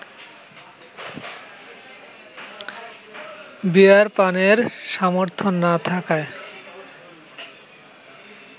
বিয়ার পানের সামর্থ্য না থাকায়